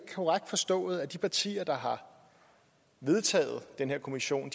korrekt forstået at de partier der har vedtaget den her kommission